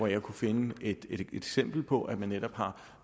jeg finde et eksempel på at man endnu har